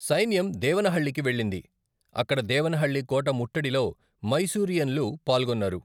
సైన్యం దేవనహళ్లికి వెళ్ళింది, అక్కడ దేవనహళ్లి కోట ముట్టడిలో మైసూరియన్లు పాల్గొన్నారు.